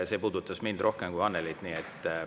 See puudutas mind rohkem kui Annelyd.